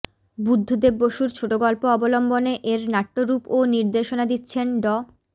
বুদ্ধদেব বসুর ছোটগল্প অবলম্বনে এর নাট্যরূপ ও নির্দেশনা দিচ্ছেন ড